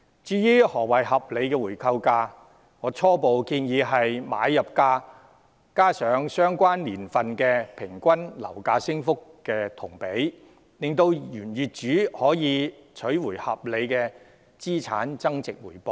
至於何謂合理的回購價，我初步建議為買入價加上等同相關年份平均樓價升幅的金額，讓原業主可取回合理的資產增值回報。